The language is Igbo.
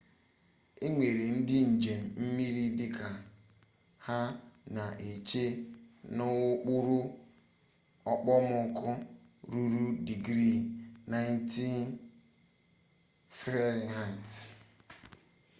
e nyere ndị njem mmiri dịka ha na-eche n'okpuru okpomọkụ ruru digrii 90f